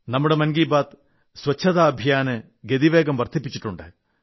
നമ്മുടെ മൻ കീ ബാത് സ്വച്ഛതാ അഭിയാന് സമയാസമയങ്ങളിൽ ഗതിവേഗം വർധിപ്പിച്ചിട്ടുണ്ട്